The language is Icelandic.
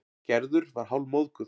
Gerður var hálfmóðguð.